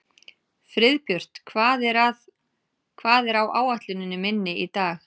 Friðbjört, hvað er á áætluninni minni í dag?